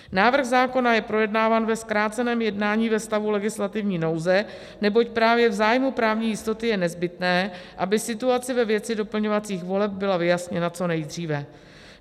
Návrh zákona je projednáván ve zkráceném jednání ve stavu legislativní nouze, neboť právě v zájmu právní jistoty je nezbytné, aby situace ve věci doplňovacích voleb byla vyjasněna co nejdříve.